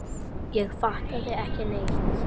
Ég fattaði ekki neitt.